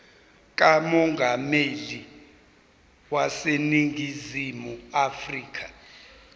kamongameli waseningizimu afrika